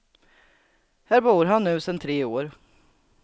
Här bor han nu sedan tre år.